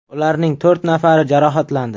Ularning to‘rt nafari jarohatlandi.